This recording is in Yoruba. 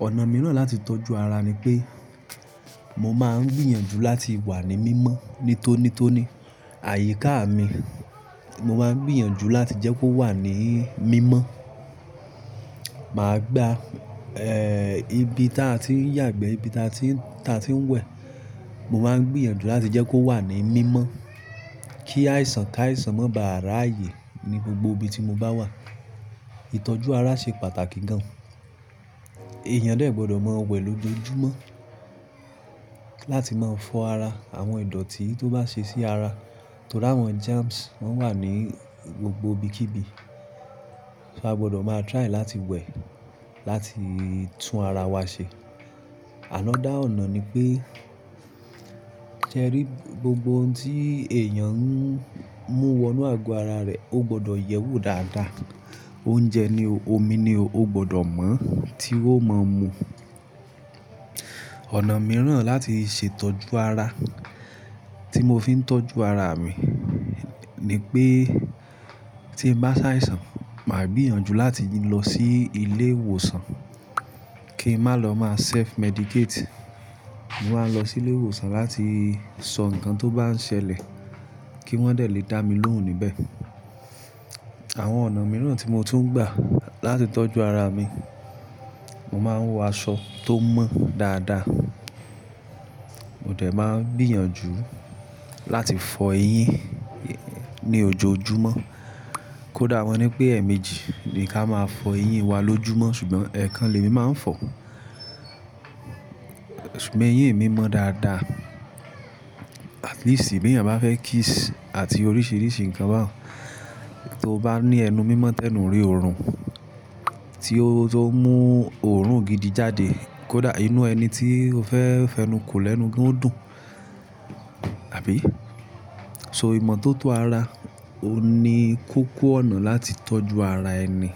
Ọ̀nà mìíràn láti tọ́jú ara ni pé mo máa ń gbìyànjú láti wà ní mímọ́ nítónító ní. Àyíká mi mo máa ń gbìyànjú láti jẹ́ kó wà ní mímọ́. Màá gba, ibi tí a ti ń yàgbẹ́, ibi tí a ti ń wẹ̀, mo máa ń gbìyànjú láti jẹ́ kó wà ní mímọ́ kí àìsàn ká àìsàn má bàà ráàyè ní gbogbo ibi tí mo bá wà. Ìtọ́jú ara ṣe pàtàkì gan. Èèyàn de gbọ́dọ̀ mọ wẹ̀ lójoojúmọ́ láti máa fọ ara. Àwọn ìdọ̀tí tó bá ṣe sí ara torí àwọn germs wọ́n wà ní gbogbo ibikíbi. So a gbọ́dọ̀ máa try láti wẹ̀ láti tún ara wa ṣe. Another ọ̀nà ni pé ṣẹ rí gbogbo ohun tí èèyàn ń mú wọnú àgọ́ ara rẹ̀ ó gbọ́dọ̀ yẹ́wò dáadáa. Oúnjẹ ni o, omi ni o, ó gbọ́dọ̀ mọ́ tí ó mọ mú. Ọ̀nà mìíràn láti ṣe ìtọ́jú ara tí mo fi ń tọ́jú ara mi ni pé tí mo bá ṣàìsàn, màá gbìyànjú láti lọ sí ilé ìwòsàn kí n má lọ má self medicate. Mo máa lọ sí ilé ìwòsàn láti sọ ǹkan tó bá ń ṣẹlẹ̀ kí wọ́n lè dá mi lóhùn níbẹ̀. Àwọn ọ̀nà mìíràn tí mo tún gbà láti tọ́jú ara mi, mo máa ń wọ aṣọ tó mọ́ dáadáa. Mo dẹ̀ máa ń gbìyànjú láti fọ eyín ní ojoojúmọ́. Kódà wọ́n nipé èèmejì ni ká máa fọ eyín wa lójúmọ́ ṣùgbọ́n èèkàn lèmi máa ń fọ. Ṣùgbọ́n eyín mi mọ́ dáadáa. At least bí èèyàn bá fẹ́ kiss àti oríṣìíríṣìí ǹkan bá, to bá ní ẹnu mímọ́ tẹnu rí òórùn tí ó mú òórùn gidi jáde. Kódà inú ẹni tí o fẹ́ fẹnuko lẹ́nu ó dùn, àbí? So ìmọ́tótó ara òun ni kòkò ọ̀nà láti tọ́jú ara ẹni.